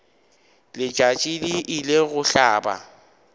letšatši le ile go hlaba